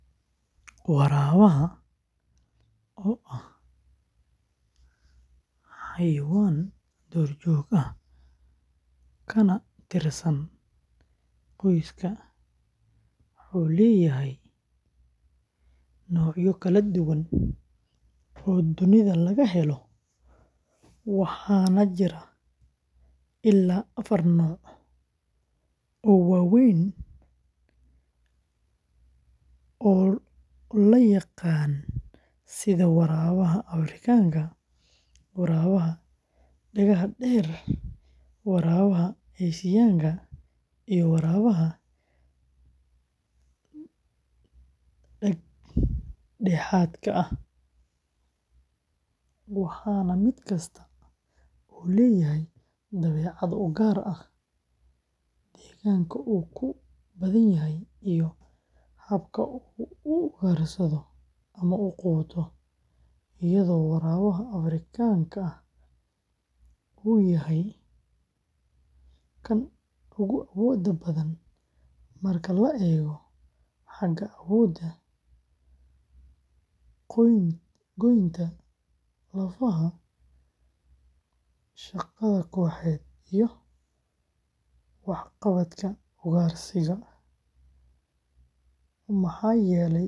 Waraabaha, oo ah xayawaan duurjoog ah kana tirsan qoyska canidae, wuxuu leeyahay noocyo kala duwan oo dunida laga helayo, waxaana jira illaa afar nooc oo waaweyn oo la yaqaan sida waraabaha Afrikaanka. waraabaha dhagaha-dheer, waraabaha Aasiyaanka, iyo waraabaha dhag-dhexaadka ah, waxaana mid kasta leeyahay dabeecad u gaar ah, deegaanka uu ku badan yahay, iyo habka uu u ugaarsado ama u quuto, iyadoo waraabaha Afrikaanka ah uu yahay kan ugu awoodda badan marka la eego xagga awoodda goynta lafaha, shaqada kooxeed, iyo waxqabadka ugaarsiga.